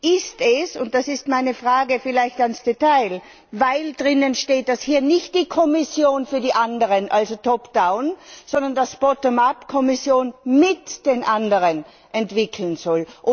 Ist es und das ist meine Frage vielleicht im Detail weil darin steht, dass hier nicht die Kommission für die anderen, also sondern dass die Kommission mit den anderen entwickeln soll?